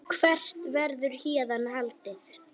Hvert verður héðan haldið?